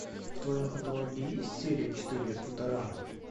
в твоем каталоге есть серия четыре футурама